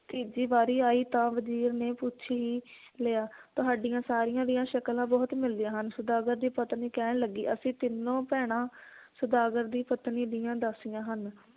ਤੀਜੀ ਵਾਰੀ ਆਈ ਤਾਂ ਵਜੀਰ ਨੇ ਪੁੱਛ ਹੀ ਲਿਆ ਤੁਹਾਡੀਆਂ ਸਾਰੀਆਂ ਦੀਆਂ ਸ਼ਕਲਾਂ ਬਹੁਤ ਮਿਲਦੀਆਂ ਹਨ ਸੌਦਾਗਰ ਦੀ ਪਤਨੀ ਕਹਿਣ ਲੱਗੀ ਅਸੀਂ ਤਿੰਨੋਂ ਭੈਣਾਂ ਸੌਦਾਗਰ ਦੀ ਪਤਨੀ ਦੀਆਂ ਦਾਸੀਆਂ ਹਨ